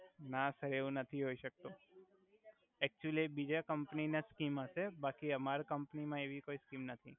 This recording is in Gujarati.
ના સર એવુ નથી હોય સક્તુ એકટુઅલી એ બિજા કમ્પની ના સ્કિમ હસે બાકી અમારે કમ્પની મા એવી કોઇ સ્કિમ નથી.